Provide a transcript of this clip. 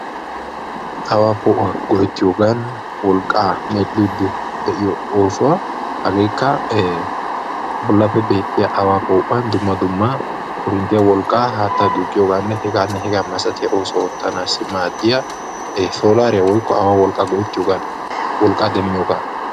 Awa po'uwaa go'etiyoogan wolqqa medhdhidi de'iyo oosuwaa hagekka bollappe beetiya awa po'uwan dumma dumma korinttiyaa wolqqa, haattaa duqqiyooganne heganne hega masaityaabata oottanassi maadiya solariyaa woykko awa wolqqa go'ettiya wolqqa demmiyooga.